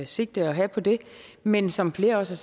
sigte at have på det men som flere også